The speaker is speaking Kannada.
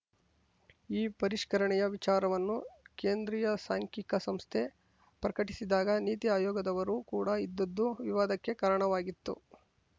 ಈ ಪರಿಷ್ಕರಣೆ ವಿಚಾರವನ್ನು ಕೇಂದ್ರೀಯ ಸಾಂಖ್ಯಿಕ ಸಂಸ್ಥೆ ಪ್ರಕಟಿಸಿದಾಗ ನೀತಿ ಆಯೋಗದವರು ಕೂಡ ಇದ್ದದ್ದು ವಿವಾದಕ್ಕೆ ಕಾರಣವಾಗಿತ್ತು